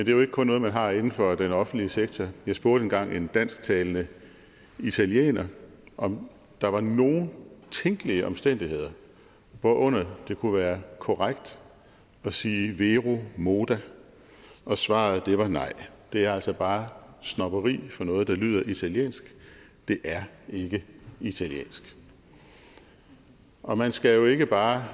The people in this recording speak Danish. er jo ikke kun noget man har inden for den offentlige sektor jeg spurgte engang en dansktalende italiener om der var nogen tænkelige omstændigheder hvorunder det kunne være korrekt at sige vero moda og svaret var nej det er altså bare snobberi for noget der lyder italiensk det er ikke italiensk og man skal jo ikke bare